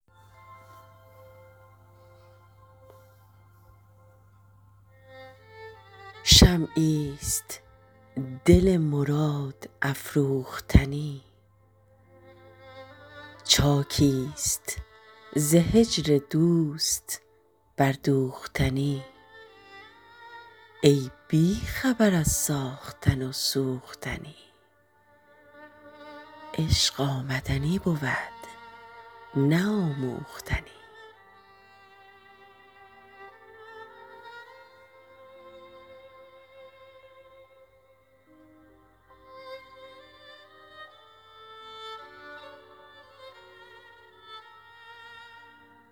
شمعی است دل مراد افروختنی چاکیست ز هجر دوست بردوختنی ای بی خبر از ساختن و سوختنی عشق آمدنی بود نه آموختنی